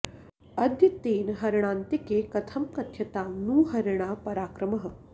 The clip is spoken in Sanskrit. अद्य तेन हरिणान्तिके कथं कथ्यतां नु हरिणा पराक्रमः